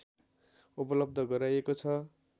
उपलब्ध गराइएको छ